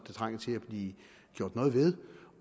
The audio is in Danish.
trænger til at blive gjort noget ved